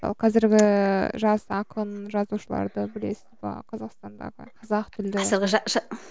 мысалы қазіргі жас ақын жазушыларды білесіз бе қазақстандағы қазақ тілді